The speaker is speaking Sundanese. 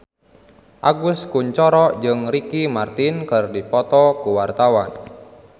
Agus Kuncoro jeung Ricky Martin keur dipoto ku wartawan